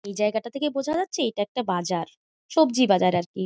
এই জায়গাটাকে দেখে বোঝা যাচ্ছে এটা একটা বাজার সবজি বাজার আর কি।